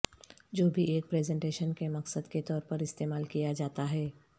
جو بھی ایک پریزنٹیشن کے مقصد کے طور پر استعمال کیا جاتا ہے